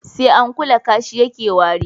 sai an kula kashi ya ke wari